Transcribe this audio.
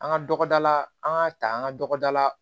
An ka tɔgɔda la an ka ta an ka dɔgɔda la